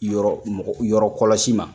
Yɔrɔmɔgɔ yɔrɔ kɔlɔsi ma.